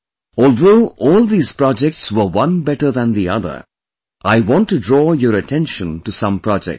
Although all these projects were one better than the other, I want to draw your attention to some projects